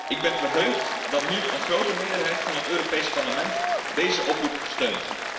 Ik ben verheugd dat nu een grote meerderheid van het Europees Parlement deze oproep steunt.